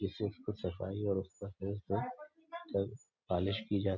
जिससे उसको सफाई और पॉलिश की जाती है।